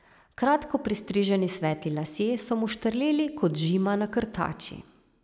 Kratko pristriženi svetli lasje so mu štrleli kot žima na krtači.